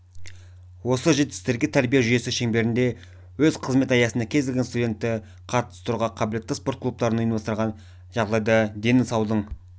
осы жетістіктерге тәрбие жүйесі шеңберінде өз қызмет аясына кез келген студентті қатыстыруға қабілетті спорт клубтарын ұйымдастырған жағдайда дені саудың